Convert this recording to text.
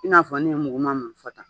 I n'a fɔ ne ye mugu ma min fɔ tan.